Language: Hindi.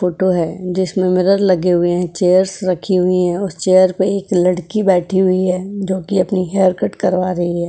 फोटो है। जिसमें मिरर लगे हुए हैं। चेयर्स रखी हुई है और चेयर पर एक लड़की बैठी हुई है जोकि अपनी हेयर कट करवा रही है।